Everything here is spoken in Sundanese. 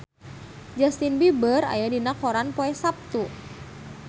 Justin Beiber aya dina koran poe Saptu